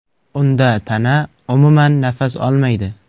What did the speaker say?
Unda tana umuman nafas olmaydi.